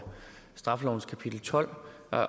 straffelovens kapitel tolv